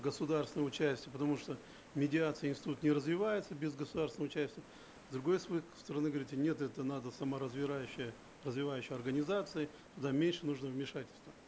государственное участие потому что медиации институт не развивается без государственного участия с другой стороны говорите нет это надо развивающая организация туда меньше надо вмешательства